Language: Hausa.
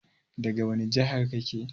Daga wani jihar kake?